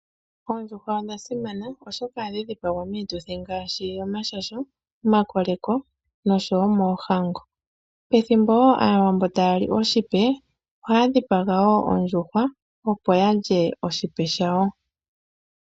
Oondjuhwa odhasimana oshoka ohadhi dhipagwa miituthi ngaashi yomashasho, omakoleko noshowo moohango. Pethimbo woo aawambo tayali oshipe ohayadhipaga ondjuhwa opo yalye oshipe shawo.